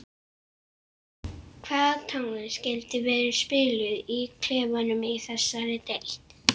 Hvað tónlist skyldi vera spiluð í klefanum í þessari deild?